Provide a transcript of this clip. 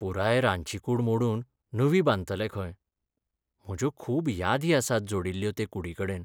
पुराय रांदची कूड मोडून नवी बांदतले खंय. म्हज्यो खूब यादी आसात जोडिल्ल्यो ते कुडीकडेन!